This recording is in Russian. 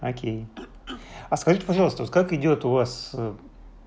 окей а скажите пожалуйста вот как идёт у вас